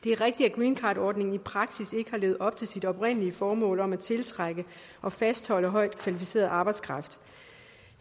det er rigtigt at greencardordningen i praksis ikke har levet op til sit oprindelige formål om at tiltrække og fastholde højt kvalificeret arbejdskraft